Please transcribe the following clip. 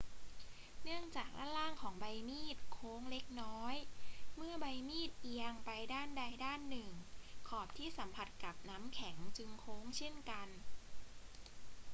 เนื่องจากด้านล่างของใบมีดโค้งเล็กน้อย เมื่อใบมีดเอียงไปด้านใดด้านหนึ่ง ขอบที่สัมผัสกับน้ำแข็งจึงโค้งเช่นกัน